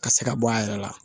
Ka se ka bɔ a yɛrɛ la